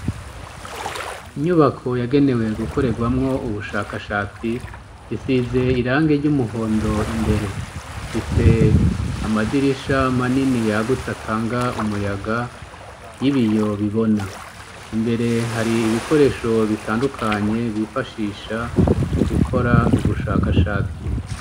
Inyubako yagenewe gukorerwamwo ubushakashatsi isize irange ry'umuhondo imbere fise amadirisha manini yagutse atanga umuyaga y'ibi yobibona imbere hari ibikoresho bitandukanye bifashisha mu gukora u ugushaka ashatsi.